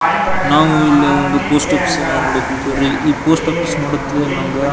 ನಾವು ಇಲ್ಲಿ ಒಂದು ಪೋಸ್ಟ್ ಆಫೀಸ್ ಅನ್ನ ನೋಡಕ್ ಹೊಂಟಿರಿ ಈ ಪೋಸ್ಟ್ ಆಫೀಸ್ ನೋಡಿದ್ರೆ ನಮ್ಗ .